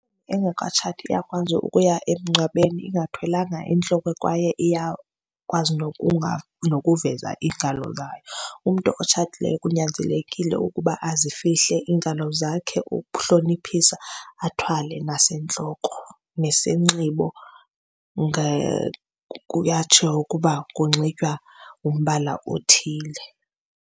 Engakatshati uyakwazi ukuya emngcwabeni ingathwelanga entloko kwaye iyakwazi nokuveza iingalo zayo. Umntu otshatileyo kunyanzelekile ukuba azifihle iingalo zakhe ukuhloniphisa. Athwale nasentloko, nesinxibo kuyatsho ukuba kunxitywa umbala othile.